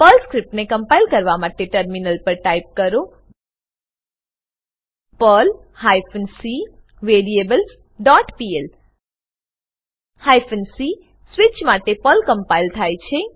Perl સ્ક્રીપ્ટને compile કરવા માટે ટર્મિનલ પર ટાઈપ કરો Perl hyphen c variables dot pl hyphen c switch માટે પર્લ ક્મ્પ્લાઇલ થાય છે